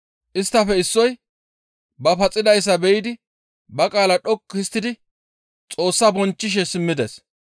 Isttafe issoy ba paxidayssa be7idi ba qaala dhoqqu histtidi Xoossaa bonchchishe simmides.